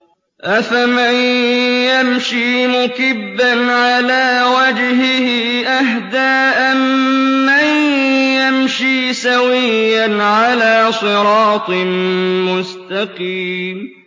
أَفَمَن يَمْشِي مُكِبًّا عَلَىٰ وَجْهِهِ أَهْدَىٰ أَمَّن يَمْشِي سَوِيًّا عَلَىٰ صِرَاطٍ مُّسْتَقِيمٍ